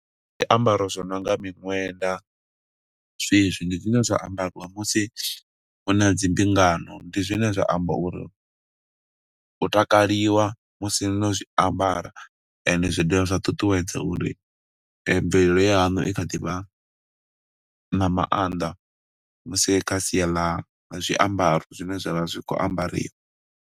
Zwiambaro zwo nonga miṋwenda zwezwi, ndi zwine zwa ambariwa musi hu na dzi mbingano. Ndi zwine zwa amba uri ho takaliwa musi no zwi ambara, ende zwi dovha zwa ṱuṱuwedza uri mvelelo ya hanu i kha ḓivha na maanḓa. Musi kha sia ḽa zwiambaro zwine zwa vha zwi khou ambariwa.